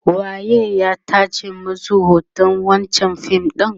waye ya tace masu hoton wancan fim ɗin?